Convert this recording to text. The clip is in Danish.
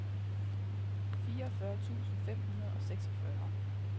fireogfyrre tusind fem hundrede og seksogfyrre